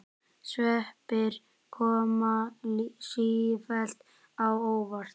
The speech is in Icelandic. Sveppir koma sífellt á óvart!